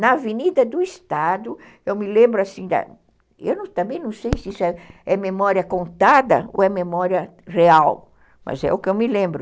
Na Avenida do Estado, eu me lembro assim, eu também não sei se isso é memória contada ou é memória real, mas é o que eu me lembro.